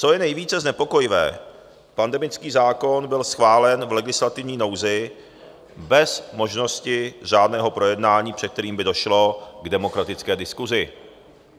Co je nejvíce znepokojivé, pandemický zákon byl schválen v legislativní nouzi bez možnosti řádného projednání, před kterým by došlo k demokratické diskusi.